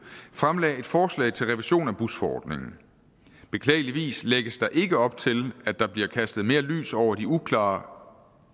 fremlagde et forslag til revision af busforordningen beklageligvis lægges der ikke op til at der bliver kastet mere lys over de uklare